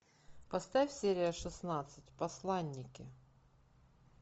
поставь серия шестнадцать посланники